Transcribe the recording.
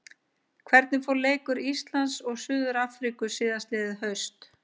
Hvernig fór leikur Íslands og Suður-Afríku síðastliðið haust?